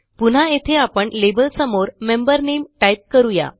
पुन्हा येथे आपण लेबल समोर मेंबर नामे टाईप करू या